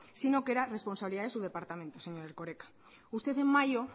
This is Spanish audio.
sino que era responsabilidad de su departamento señor erkoreka usted en mayo